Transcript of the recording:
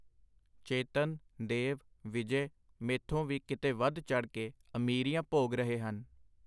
ਚੇਤਨ, ਦੇਵ, ਵਿਜੇ, ਮੈਥੋਂ ਵੀ ਕਿਤੇ ਵਧ ਚੜ੍ਹ ਕੇ ਅਮੀਰੀਆਂ ਭੋਗ ਰਹੇ ਹਨ.